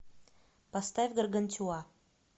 поставь гаргантюа